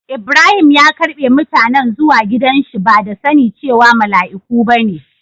lbrahim ya ƙarbe mutanen zuwa gidan shi ba da sani cewa malaiku ba ne.